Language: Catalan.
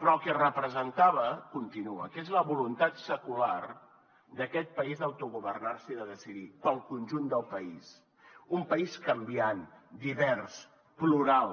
però el que representava continua que és la voluntat secular d’aquest país d’autogovernar se i de decidir per al conjunt del país un país canviant divers plural